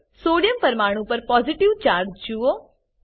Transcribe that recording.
sodium sodium પરમાણુ પર positive charge જુઓ